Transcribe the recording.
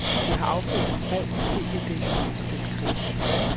Det har affødt et brev om tv-dækningen af den krig.